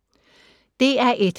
DR1